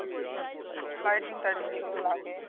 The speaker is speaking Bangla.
লাইটিং টাইটিং যেগুলো লাগে